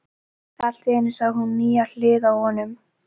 Allt í einu sá hún nýja hlið á honum.